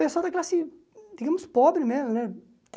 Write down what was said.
Pessoal da classe, digamos, pobre mesmo, né?